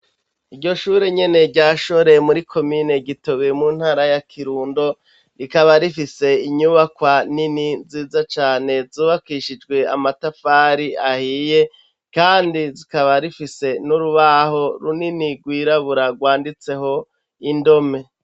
Iryo shure nyene rya shoreye muri komine gitobiye mu ntara ya kirundo rikaba rifise inyubakwa nini ziza cane zubakishijwe amatafari ahiye, kandi zikaba rifise n'urubaho runini rwirabura rwanditseho indome.